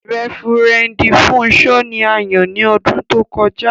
Rẹ́vẹ́rẹ̀ndì Fúnṣọ̀ ní à yàn ní ọdún tó kọja.